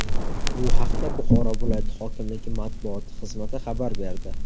Bu haqda Buxoro viloyati hokimligi matbuoti xizmati xabar berdi.